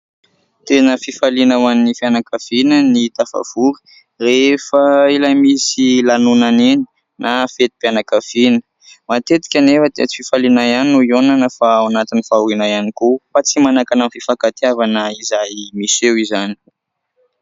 Tena fifaliana ho an'ny fianankaviana ny tafavory rehefa ilay misy lanonana iny na fetim-pianakaviana, matetika anefa dia tsy fifaliana ihany no hihaonana fa ao anatin'ny fahoriana ihany koa fa tsy manakana amin'ny fifankatiavana izay miseho izany.